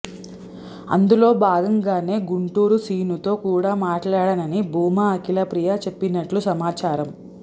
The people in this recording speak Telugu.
అందులో భాగంగానే గుంటూరు సీనుతో కూడా మాట్లాడానని భూమా అఖిల ప్రియ చెప్పినట్లు సమాచారం